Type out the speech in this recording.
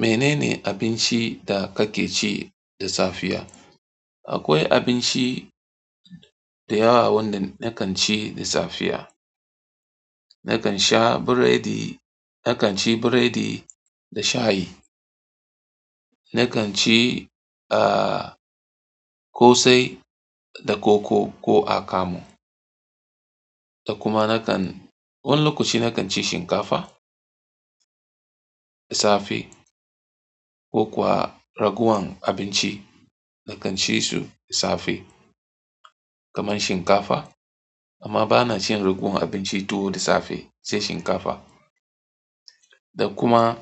Menene abinci da kake ci da safiya? Akwai abinci dayawa wanda nakan ci da safiya. Nakan sha biredi, nakan ci biredi da shayi. Nakan ci, ah, ƙosai da koko ko akamu. Da kuma nakan, wani lokaci nakan ci shinkafa da safe ko kuwa raguwan abinci nakan ci su da safe kamar shinkafa. Amma bana cin raguwan abinci tuwo da safe sai shinkafa. Da kuma